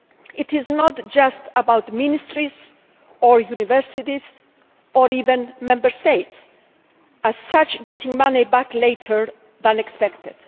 It is not just about ministries or universities or even Member States as such, getting money back later than expected.